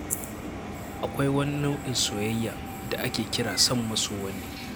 Akwai wani nau'in soyayya da ake kira son maso wani.